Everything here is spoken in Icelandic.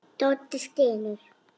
Doddi stynur.